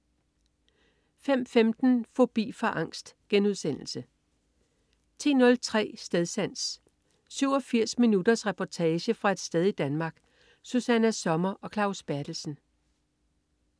05.15 Fobi for angst* 10.03 Stedsans. 87 minutters reportage fra et sted i Danmark. Susanna Sommer og Claus Berthelsen